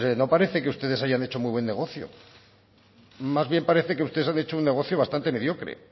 no parece que ustedes hayan hecho muy buen negocio más bien parece que ustedes han hecho un negocio bastante mediocre